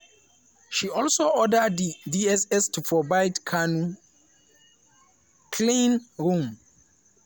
she also order di dss to provide kanu a "clean room"